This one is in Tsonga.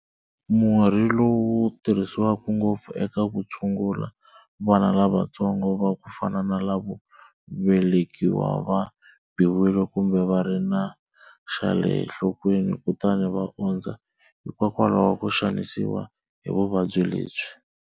Murhi lowu wu tirhisiwa ngopfu eka ku tshungula vana lavatsongo va ku fana na lavo velekiwa va biwile kumbe va ri na xa le nhlokweni kutani va ondza hikokwalaho ko xanisiwa hi vuvabyi lebyi.